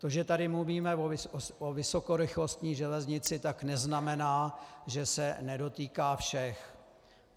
To, že tady mluvíme o vysokorychlostní železnici, tak neznamená, že se nedotýká všech.